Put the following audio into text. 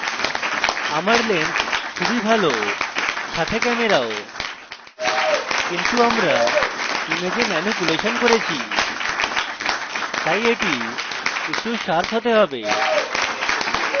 আমার lens খুবই ভাল সাথে camera কিন্তু আমরা image ম্যানুপুলেশন করেছি my এটি একটু শার্প হতে have